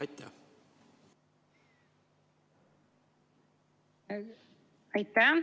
Aitäh!